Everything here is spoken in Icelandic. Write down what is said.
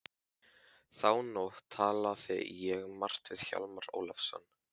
Þá nótt talaði ég margt við Hjálmar Ólafsson.